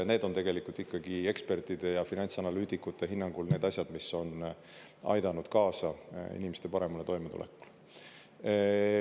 Need on tegelikult ikkagi ekspertide ja finantsanalüütikute hinnangul need asjad, mis on aidanud kaasa inimeste paremale toimetulekule.